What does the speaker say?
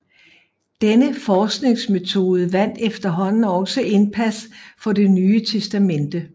Denne forskningsmetode vandt efterhånden også indpas for Det Nye Testamente